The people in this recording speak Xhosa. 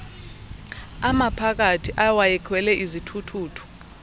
amaphakathi awayekhwele izithuthuthu